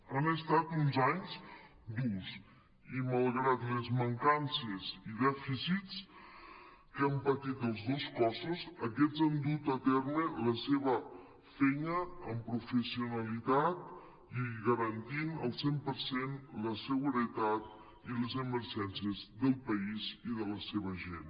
han estat uns anys durs i malgrat les mancances i dèficits que han patit els dos cossos aquests han dut a terme la seva feina amb professionalitat i garantint al cent per cent la seguretat i les emergències del país i de la seva gent